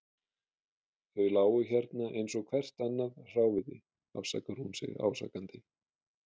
Þau lágu hérna eins og hvert annað hráviði, afsakar hún sig ásakandi.